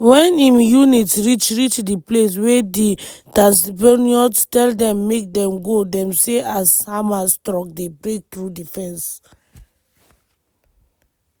wen im unit reach reach di place wey di tatzpitaniyot tell dem make dem go dem see as hamas trucks dey break through di fence.